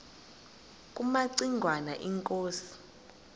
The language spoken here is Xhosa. kumaci ngwana inkosi